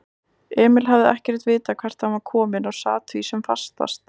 Emil hafði ekkert vitað hvert hann var kominn og sat því sem fastast.